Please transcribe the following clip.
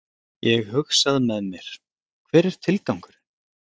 Ég hugsað með mér, hver er tilgangurinn?